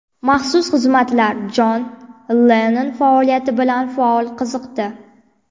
Maxsus xizmatlar Jon Lennon faoliyati bilan faol qiziqdi.